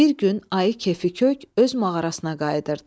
Bir gün ayı kefi kök öz mağarasına qayıdırdı.